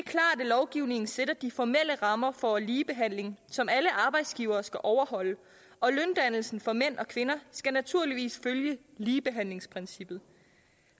lovgivningen sætter de formelle rammer for ligebehandling som alle arbejdsgivere skal overholde og løndannelsen for mænd og kvinder skal naturligvis følge ligebehandlingsprincippet